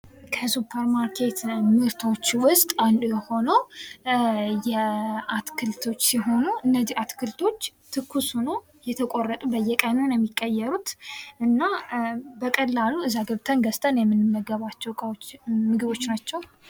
ከሱፐርማርኬት ምርቶች ውስጥ አንዱ የሆነው አትክልቶች ሲሆኑ ፤ እነዚያ አትክልቶች ትኩስ ሆኖ የተቆረጡ፥ በየቀኑ ነው የሚቀየሩት እና በቀላሉ እዛ ገብተን ገዝተን የምንመገባቸው ምግቦች ናቸው።